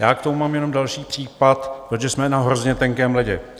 Já k tomu mám jenom další případ, protože jsme na hrozně tenkém ledě.